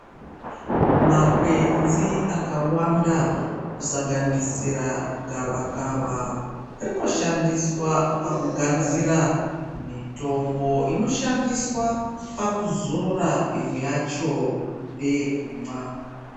Makwenzo akawanda kusanganisira gavakava rinoshandiswa pakugadzira mitombo, inoshandiswa pakuzora. Imwe yacho ndeyekumwa.